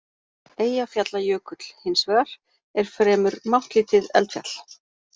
Eyjafjallajökull, hins vegar, er fremur máttlítið eldfjall.